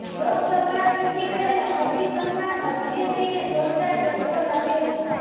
લોકસભા ચૂંટણી પહેલા પશ્ચિમ બંગાળમાં બીજેપીને જોરદાર ઝટકો લાગ્યો છે